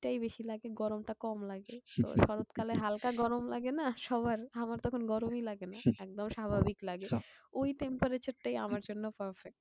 শীত টাই বেশি লাগে গরম টা কম লাগে। শরৎ কালে হালকা গরম লাগেনা সবার? আমার তখন গরমই লাগেনা। একদম স্বাভাবিক লাগে। ওই temperature টাই আমার জন্য perfect.